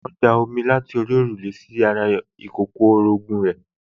wọ́n da omi láti òrùlé sí ara ọmọ ìkókó orogún ẹ̀